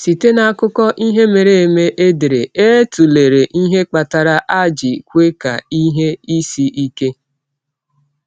Site n’akụkọ ihe mere eme edere, e tụlere ihe kpatara a ji kwe ka ihe isi ike.